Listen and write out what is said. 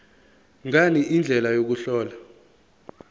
ngani indlela yokuhlola